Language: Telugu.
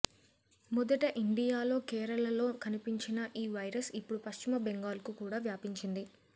మొదట ఇండియాలో కేరళలో కనిపించిన ఈ వైరస్ ఇప్పుడు పశ్చిమ బెంగాల్ కు కూడా వ్యాపించింది